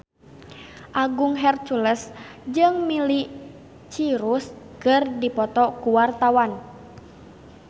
Agung Hercules jeung Miley Cyrus keur dipoto ku wartawan